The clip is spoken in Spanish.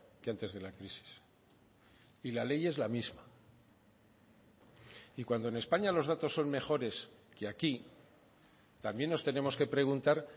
que antes de la crisis y la ley es la misma y cuando en españa los datos son mejores que aquí también nos tenemos que preguntar